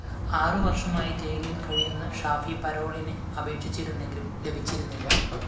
ആറുവര്‍ഷമായി ജയിലില്‍ കഴിയുന്ന ഷാഫി പരോളിന് അപേക്ഷിച്ചിരുന്നെങ്കിലും ലഭിച്ചിരുന്നില്ല